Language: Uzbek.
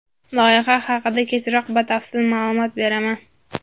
Loyiha haqida kechroq batafsil ma’lumot beraman.